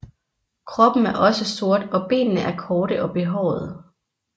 Kroppen er også sort og benene er korte og behårede